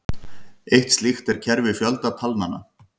Eitt slíkt er kerfi fjöldatalnanna.